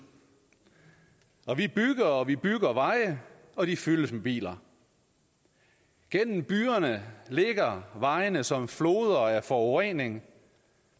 og vi bygger veje og vi bygger veje og de fyldes med biler gennem byerne ligger vejene som floder af forurening